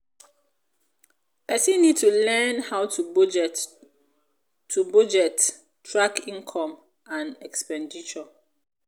person need to learn how to budget to budget track income and expenditure